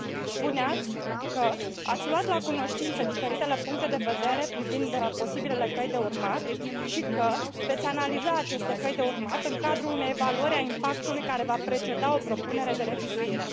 Spuneați că ați luat la cunoștință diferitele puncte de vedere privind posibilele căi de urmat și că veți analiza aceste căi de urmat în cadrul unei evaluări a impactului care va preceda o propunere de revizuire.